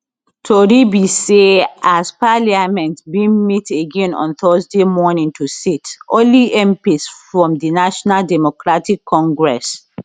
tori be say as parliament bin meet again on thursday morning to sit only mps from di national democratic congress